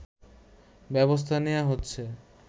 ব্যবস্থা নেয়া হচ্ছে